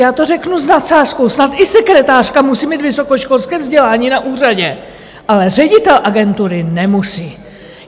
Já to řeknu s nadsázkou - snad i sekretářka musím mít vysokoškolské vzdělání na úřadě, ale ředitel agentury nemusí?